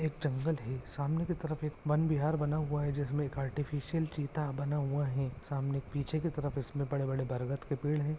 एक जंगल है सामने की तरफ एक वनविहार बना हुआ है जिसमे एक आर्टिफ़िशियल चीता बना हुआ है सामने पीछे की तरफ इसमे बड़े-बड़े बरगद के पड़े है।